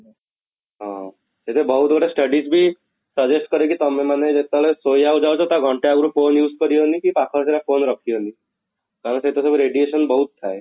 ହଁ, ସେଇଟା ବହୁତ ଗୁଡ଼େ studies ବି suggest କରେ କି ତମେ ମାନେ ଯେତେବେଳେ ଶୋଇବାକୁ ଯାଉଛ ତା ଘଣ୍ଟେ ଆଗରୁ phone use କରିବନି କି ପାଖ ଆଖ ରେ phone ରଖିବନି କାରଣ ସେଇଟା ସବୁ radiation ବହୁତ ଥାଏ